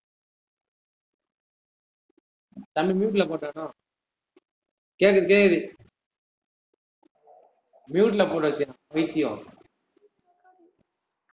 தம்பி mute ல போட்டானோ கேக்குது கேக்குது mute ல போட்டு வெச்சிருக்கான் பைத்தியம்